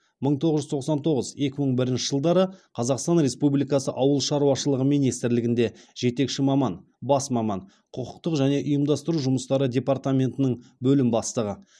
мың тоғыз жүз тоқсан тоғыз екі мың бірінші жылдары қазақстан республикасы ауыл шаруашылығы министрлігінде жетекші маман бас маман құқықтық және ұйымдастыру жұмыстары департаментінің бөлім бастығы